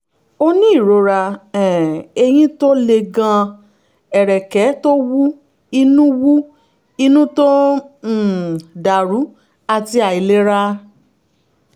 o ní ìrora um eyín tó le gan-an ẹ̀rẹ̀kẹ́ tó wú inú wú inú tó ń um dàrú àti àìlera